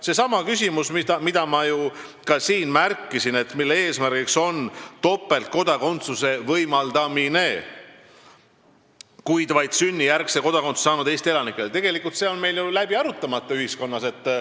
Seesama küsimus, mida ma ka märkisin, topeltkodakondsuse võimaldamine vaid sünnijärgselt kodakondsuse saanud Eesti elanikele, on tegelikult ühiskonnas ju läbi arutamata.